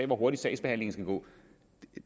hvor hurtigt sagsbehandlingen skal gå